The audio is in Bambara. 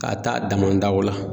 K'a taa damadaw la